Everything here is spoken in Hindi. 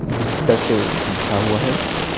बिस्तर से बिछा हुआ है।